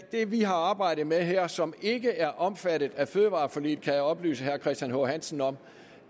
det vi har arbejdet med her som ikke er omfattet af fødevareforliget kan jeg oplyse herre christian h hansen om